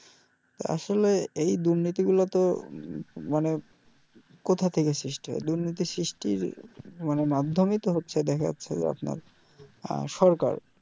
আসলে এই দুর্নীতি গুলো তো মানে কোথা থেকে সৃষ্টি হয় দুর্নীতির সৃষ্টি মানে মাধ্যমই তো হচ্ছে দেখা যাচ্ছে যে সরকার